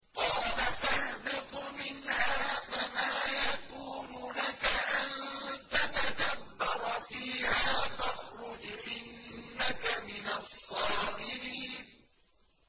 قَالَ فَاهْبِطْ مِنْهَا فَمَا يَكُونُ لَكَ أَن تَتَكَبَّرَ فِيهَا فَاخْرُجْ إِنَّكَ مِنَ الصَّاغِرِينَ